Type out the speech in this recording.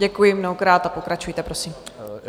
Děkuji mnohokrát a pokračujte, prosím.